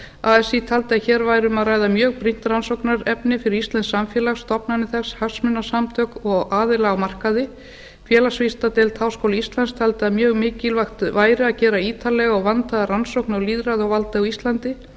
así taldi að hér væri um að ræða mjög brýnt rannsóknarefni fyrir íslenskt samfélag stofnanir þess hagsmunasamtök og aðila á markaði félagsvísindadeild háskóla íslands taldi að mjög mikilvægt væri að gera ítarlega og vandaða rannsókn á lýðræði og valdi á íslandi